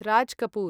Raj Kapoor